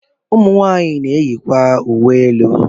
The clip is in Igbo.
Ụmụ nwaanyị na-eyikwa uwe elu.